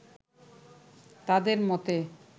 তাঁদের মতে